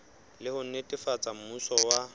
le ho netefatsa mmuso wa